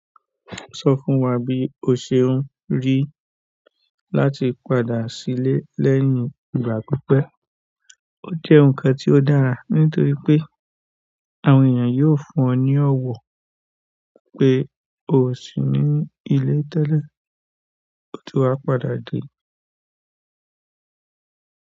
Sọ fún wa bí o ṣe ń rí láti padà sílé lẹ́yìn ìgbà pípẹ́. Ó jẹ́ ǹkan tí ó dára nítorí pé àwọn èèyàn yóò fún ọ ní ọ̀wọ̀ pé o sì ní ilé tẹ́lẹ̀ o ti wá padà dé.